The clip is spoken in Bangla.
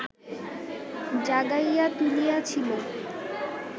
জাগাইয়া তুলিয়াছিল